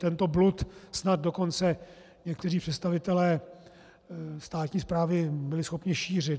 Tento blud snad dokonce někteří představitelé státní správy byli schopni šířit.